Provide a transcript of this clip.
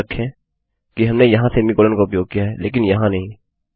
याद रखें कि हमने यहाँ सेमीकोलन का उपयोग किया है लेकिन यहाँ नहीं